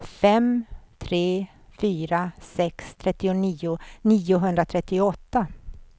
fem tre fyra sex trettionio niohundratrettioåtta